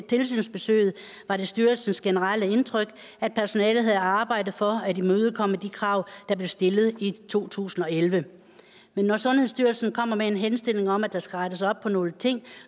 tilsynsbesøget var det styrelsens generelle indtryk at personalet havde arbejdet for at imødekomme de krav der blev stillet i to tusind og elleve men når sundhedsstyrelsen kommer med en henstilling om at der skal rettes op på nogle ting